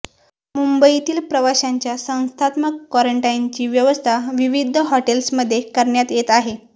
मुंबईतील प्रवाशांच्या संस्थात्मक कॉरंटाईनची व्यवस्था विविध हॉटेल्समध्ये करण्यात येत आहे